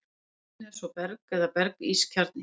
Í miðjunni er svo berg eða berg-ís kjarni.